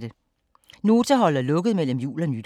Nota holder lukket mellem jul og nytår